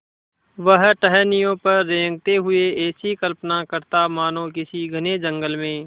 वह टहनियों पर रेंगते हुए ऐसी कल्पना करता मानो किसी घने जंगल में